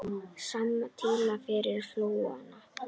Símtal yfir flóann